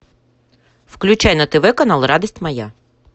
включай на тв канал радость моя